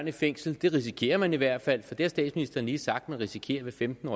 i fængsel det risikerer man i hvert fald for det har statsministeren lige sagt at man risikerer med femten